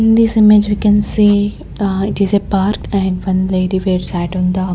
in this image we can see aa it is a park and one lady were sat on the --